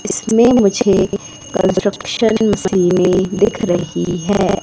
इसमें मुझे कंस्ट्रक्शन दिख रही है।